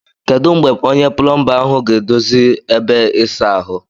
Kedu mgbe onye plomba ahụ ga-edozi ebe ịsa ahụ?